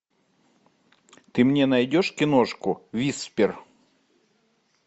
ты мне найдешь киношку виспер